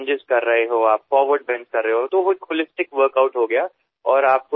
धावताना दिसलेला कचरा उचलत गेलात तर त्यामुळे होणारी तुमची शारीरिक हालचाल एक समग्र व्यायाम होऊन जाईल